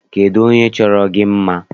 Kedụ onye chọrọ gị mma?